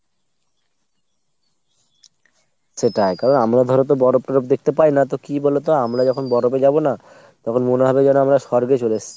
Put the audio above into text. সেটাই কারণ আমরা ধরোতো বরফ তরফ দেখতে পাইনা তো কী বলতো আমরা যখন বরফে যাবো না তখন মনে হবে যেন আমরা স্বর্গে চলে এসছি।